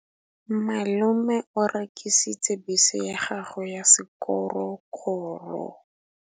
Malome o rekisitse bese ya gagwe ya sekgorokgoro.